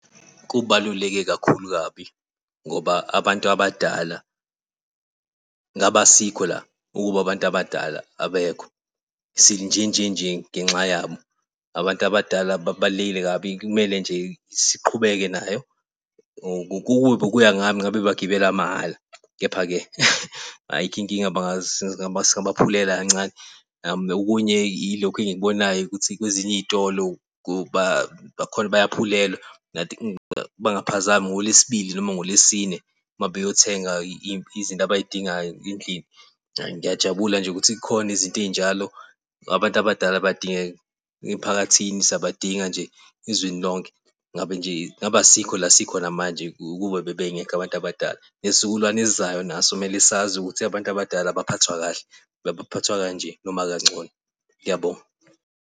Kubaluleke kakhulu kabi ngoba abantu abadala ngabe asikho la ukube abantu abadala abekho. Sinjenjenje ngenxa yabo abantu abadala babalulekile kabi, kumele nje siqhubeke nayo. Ukube bekuya ngami ngabe bagibela mahhala. Kepha-ke ayikho inkinga singabaphulela kancane. Okunye ilokhu engikubonayo ukuthi kwezinye iy'tolo bayaphulelwa I think mangaphazami ngoLwesibili noma ngoLwesine uma beyothenga izinto abayidingayo endlini. Hhayi, ngiyajabula nje ukuthi kukhona izinto ey'njalo abantu abadala bayadingeka emphakathini. Siyabadinga nje ezweni lonke, Ngabe nje ngabe asikho la sikhona manje, kube bebengekho abantu abadala nesizukulwane esizayo naso kumele sazi ukuthi abantu abadala baphathwa kahle, baphathwa kanje, noma kangcono. Ngiyabonga.